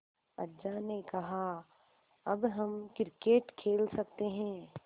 अज्जा ने कहा अब हम क्रिकेट खेल सकते हैं